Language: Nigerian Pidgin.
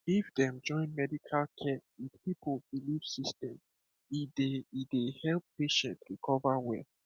if dem join medical care with people belief system e dey e dey help patient recover well